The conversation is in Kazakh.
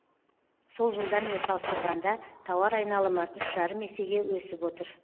сол жылдармен салыстырғанда тауар айналымы үш жарым есеге өсіп отыр